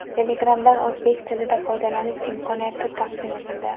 Telegram’dan o‘zbek tilida foydalanish imkoniyati taqdim etildi.